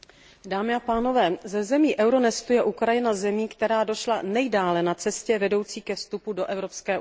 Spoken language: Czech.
Pane předsedající, ze zemí Euronestu je Ukrajina zemí, která došla nejdále na cestě vedoucí ke vstupu do Evropské unie.